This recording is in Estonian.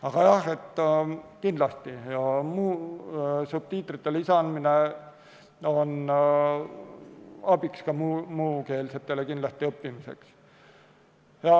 Aga jah, kindlasti on subtiitrite lisamine abiks ka muukeelsetele õppimisel.